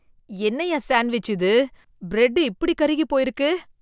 என்னயா சான்டவிச் இது, பிரெட் இப்படி கருகி போயிருக்கு.